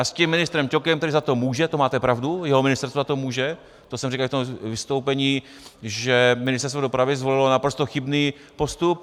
A s tím ministrem Ťokem, který za to může, to máte pravdu, jeho ministerstvo za to může, to jsem říkal v tom vystoupení, že Ministerstvo dopravy zvolilo naprosto chybný postup.